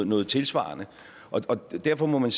noget tilsvarende derfor må man